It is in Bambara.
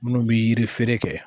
Munnu bi yiri feere kɛ.